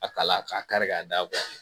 A kala k'a kari-ka da